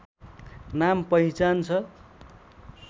नाम पहिचान छ